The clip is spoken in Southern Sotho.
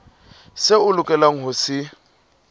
seo o lokelang ho se